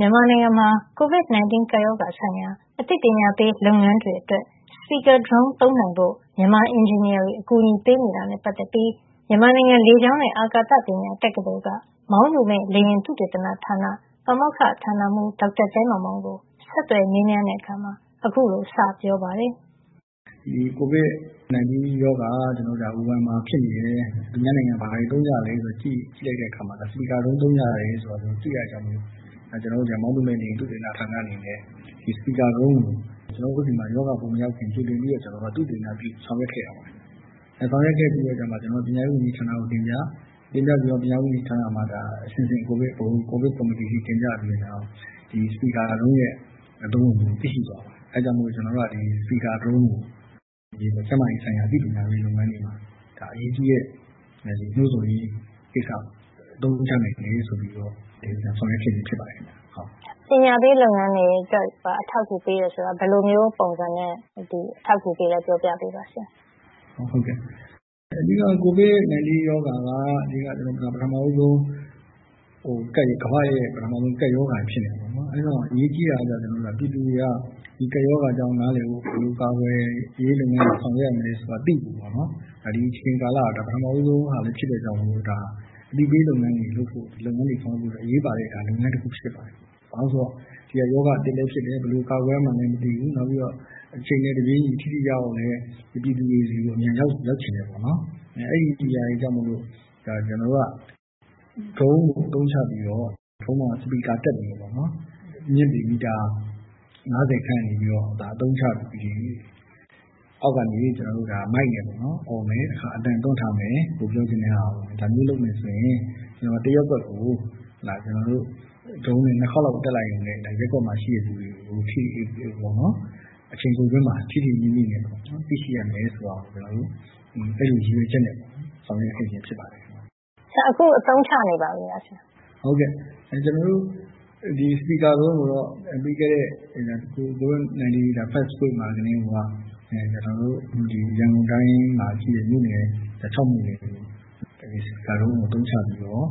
မြန်မာနိုင်ငံမှာ COVID-19 ကပ်ရောဂါဆိုင်ရာ အသိပညာပေး လုပ်ငန်းတွေအတွက် Speaker drone သုံးနိုင်ဖို့ မြန်မာအင်ဂျင်နီယာတွေ အကူအညီပေးနေတာနဲ့ ပတ်သက်ပြီး မြန်မာနိုင်ငံလေကြောင်းနဲ့ အာကာသပညာ တက္ကသိုလ် က မောင်းသူမဲ့လေယာဉ် သုတေသနဌာန ပါမောက္ခဌာနမှုး ဒေါက်တာသဲမောင်မောင်ကို ဒေါ်ခင်မျိုးသက် ဆက်သွယ်မေးမြန်းတဲ့ အခါ အခုလို စေပြောပါတယ်။ ဒီ COVID-19 ရောဂါ ဝူဟန်မှာဖြစ်နေတယ်။ သူများနိုင်ငံမှာ ဘာတွေသုံးကြသလဲဆိုတာ ကြည့်လိုက်တဲ့အခါမှာ Speaker drone သုံးကြတယ်ဆိုတာ တွေ့ရတဲ့အတွက် ကျနော်တို့ မောင်းသူမဲ့လေယာဉ် သုတေသနဌာနအနေနဲ့ Speaker drone ကို ကျနော်တို့ဆီမှာ ရောဂါမရောက်ခင် ကြိုတင်ပြီးတော့ ကျနော်တို့ သုတေသနပြုဆောင်ရွက်ခဲ့ပါတယ်။ ဆောင်ရွက်ခဲ့ပြီးတဲ့အခါမှာ ကျနော်တို့က ပညာရေးဝန်ကြီးဌာနကိုတင်ပြ၊ တင်ပြပြီးတော့ ပညာရေးဝန်ကြီးဌာနမှာ အဆင့်ဆင့် ဗဟို ကိုဗစ်ကော်မတီအထိတင်ပြပြီးတော့ ဒီ Speaker Drone ရဲ့ အသုံးဝင်မှုကို သိရှိသွားပါတယ်။ အဲဒါကြောင့် Speaker drone ကို ကျန်းမာရေးဆိုင်ရာအသိပညာပေးလုပ်ငန်းတွေမှာ အရေးကြီးတဲ့ နှိုးဆော်ရေး ကိစ္စမှာ အသုံးချနိုင်မယ်ဆိုပြီးတော့ ဆောင်ရွက်ခဲ့ချင်းဖြစ်ပါတယ်။ အသိပညာပေးလုပ်ငန်းတွေအတွက် အထောက်အကူပေးတယ်ဆိုတာ ဘယ်လိုမျိုးပုံစံနဲ့ အထောက်အကူပေးသလဲ ပြောပြပေးပါဆရာ။ ဟုတ်ကဲ့ အဓိက COVID-19 ရောဂါ က ပထမဦးဆုံး ကမ္ဘာ့ကပ်ရောဂါဖြစ်နေတာပေါ့နော် ။ အဲဒီတော့ အရေးကြီးတာကတော့ ကျနော်တို့ ပြည်သူတွေက ဒီကပ်ရောဂါအကြောင်းနားလည်ဖို့ ဘယ်လိုကာကွယ်ရေးလုပ်ငန်းတွေ ဆောင်ရွက်ရမလဲဆိုတာ သိဖို့ပေါ့နော် ဒီအချိန်ကာလဟာ ဒါပထမဦးဆုံးလည်းဖြစ်တဲ့အတွက် ဒါဟာ အသိပေးလုပ်ငန်းတွေလုပ်ဖို့ ဒီလုပ်ငန်းတွေ ဆောင်ရွက်ဖို့ အရေးပါတဲ့ လုပ်ငန်းတခုဖြစ်ပါတယ်။ ဘာဖြစ်လို့လဲဆိုတော့ ဒါက ရောဂါအသစ်လည်းဖြစ်တယ်။ ဘယ်လိုကာကွယ်ရမှန်းလည်းမသိဘူး နောက်ပြီးတော့ အချိန်နဲ့ တပြေးညီ ထိထိရောက်ရောက်ပြည်သူတွေဆီကို အမြန်ရောက်ချင်တယ်ပေါ့နော် အဲဒါတွေကြောင့်မို့ ဒါ ကျနော်တို့က Drone ကို အသုံးချပြီးတော့ Drone အပေါ်မှာ Speaker တပ်ပြီးတော့ အမြင့်ပေမီတာ ၅၀ ခန့်ကနေပြီးတော့ အသုံးချပြီး အောက်ကနေ မိုက်နဲ့ အော်မယ်၊ တခါ အသံသွင်းထားမယ် ကိုယ်ပြောချင်တာကို ။ ဒါမျိုးလုပ်မယ်ဆိုရင် တရပ်ကွက်ကို Drone နဲ့ ၂ ခါလောက်တက်လိုက်ရင် ရပ်ကွက်မှာရှိတဲ့လူတွေကို အချိန်တိုအတွင်းမှာ ထိထိမိမိနဲ့ သိရှိရမယ်ဆိုတာ ကျနော်တို့ အဲလိုရည်ရွယ်ချက်နဲ့ပေါ့နော် ဆောင်ရွက်ခဲ့ခြင်းဖြစ်ပါတယ်။ ဆိုတော့ ဆရာ အခုအသုံးချနေပါပြီလား။ ဟုတ်ကဲ့ ကျနော်တို့ Speaker drone ကိုတော့ ပြီးခဲ့တဲ့ covid စတဲ့ first week မှာကတည်းကိုက ကျနော်တို့ ရန်ကုန်တိုင်းမှာ ရှိတဲ့ မြို့နယ် ၆ မြို့နယ်ကို Speaker drone ကိုအသုံးချပြီးတော့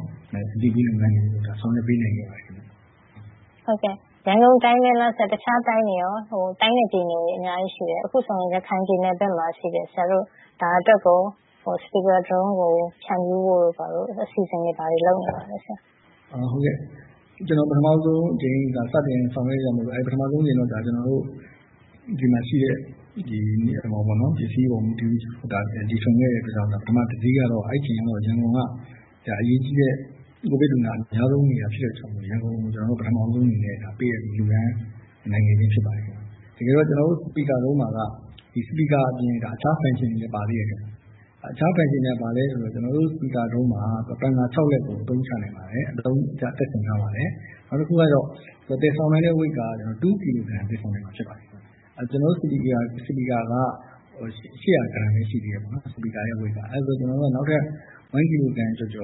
အသိပေးလုပ်ငန်းတွေ ဆောင်ရွက်ပေးနိုင်ခဲ့ပါတယ်ခင်ဗျ။ ဟုတ်ကဲ့ ရန်ကုန်တိုင်းပဲလားဆရာ တခြားတိုင်းနဲ့ ပြည်နယ်တွေ အများကြီးရှိတယ် ။ အခုဆိုရင် ရခိုင်ပြည်နယ်ဘက်မှာ ရှိတယ် ဆရာတို့ ဒါအတွက်ကို Speaker drone ကို ဖြန့်ဖြူးဖို့ အစီအစဉ်တွေ ဘာတွေ လုပ်နေပါသလဲဆရာ။ ဟုတ်ကဲ့ ကျနော်တို့ ပထမဦးဆုံးအကြိမ် စတင်ဆောင်ရွက်တာမို့လို့ ပထမဦးဆုံးအကြိမ်တော့ ဒီမှာရှိတဲ့ ပစ္စည်းအပေါ်မူတည်ပြီးတော့ တီထွင်ခဲ့တဲ့အတွက်ကြောင့် ပထမဦးဆုံး တစီးကတော့ အဲဒီအချိန်က ရန်ကုန်က အရေးကြီးတဲ့ COVID လူနာအများဆုံးနေတာဖြစ်တဲ့ အတွက်ကြောင့်မို့ ရန်ကုန်ကို ပထမဦးဆုံးအနေနဲ့ ပေးအပ်လှူဒန်းနိုင်ခဲ့ချင်းဖြစ်ပါတယ်။ တကယ်တော့ ကျနော်တို့ speaker drone မှာတော့ speaker အပြင် အခြား function တွေလည်း ပါတယ်ခင်ဗျ။ အခြား functionတွေက ဘာလဲဆိုတော့ ကျနော်တို့ speaker drone မှာ ပန်ကာ ၆ လက်ကို အသုံးချနိုင်တယ် ၊ တပ်ဆင်ထားပါတယ်။ နောက်တခုကတော့ သယ်ဆောင်နိုင်တဲ့ Weight ကတော့ ၂ ကီလိုဂရမ် သယ်ဆောင်နိုင်မှာ ဖြစ်ပါတယ်။ ကျနော်တို့ speaker က ၈၀၀ ဂရမ်ပဲ ရှိသေးတယ်ပေါ့နော် speaker weight က။ နောက်ထပ် ၁ ကီလိုဂရမ်ကျော်ကျော